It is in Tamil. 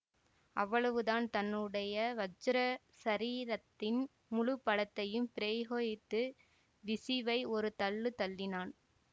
அவ்வளவுதான் தன்னுடைய வஜ்ர சரீதத்தின் முழுப்பலத்தையும் பிரயோகித்துப் பிக்ஷுவை ஒரு தள்ளு தள்ளினான்